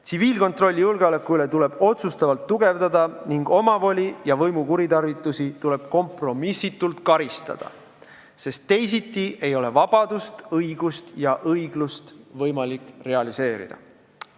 Tsiviilkontrolli julgeolekuasutuste üle tuleb otsustavalt tugevdada ning omavoli ja võimu kuritarvitusi tuleb kompromissitult karistada, sest teisiti ei ole vabadust, õiglust ja õigust võimalik realiseerida.